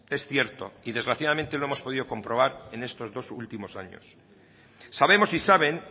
que es cierto y desgraciadamente lo hemos podido comprobar estos dos últimos años sabemos y saben